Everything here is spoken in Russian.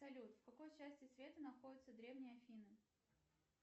салют в какой части света находятся древние афины